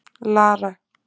Lara